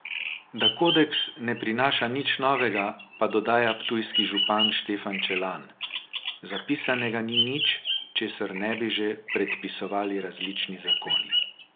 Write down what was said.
Da kodeks ne prinaša nič novega, pa dodaja ptujski župan Štefan Čelan: 'Zapisanega ni nič, česar ne bi že predpisovali različni zakoni.